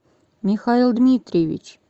михаил дмитриевич